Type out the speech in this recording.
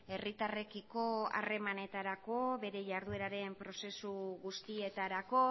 herritarrekiko harremanetarako bere jardueraren prozesu guztietarako